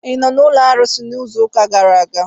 Ị nọ n'ụlọ arụsị izu ụka gara aga?